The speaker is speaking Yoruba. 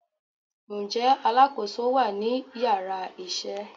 nje alákoso wa ni iyara isé?